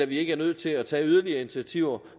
vi ikke er nødt til at tage yderligere initiativer